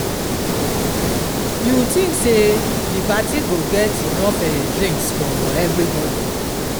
you think say di parti go get enough um drinks for everybody